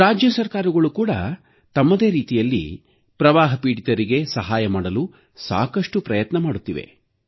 ರಾಜ್ಯ ಸರ್ಕಾರಗಳೂ ಕೂಡ ತಮ್ಮದೇ ರೀತಿಯಲ್ಲಿ ಪ್ರವಾಹ ಪೀಡಿತರಿಗೆ ಸಹಾಯ ಮಾಡಲು ಸಾಕಷ್ಟು ಪ್ರಯತ್ನ ಮಾಡುತ್ತಿವೆ